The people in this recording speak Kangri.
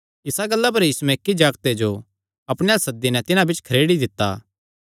इसा गल्ला पर यीशुयैं इक्की जागते जो अपणे अल्ल सद्दी नैं तिन्हां बिच्च खरेड़ी दित्ता